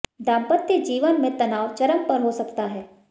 दांपत्य जीवन में तनाव चरम पर हो सकता है